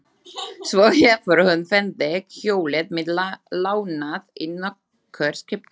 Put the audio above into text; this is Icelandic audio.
Svo hefur hún fengið hjólið mitt lánað í nokkur skipti.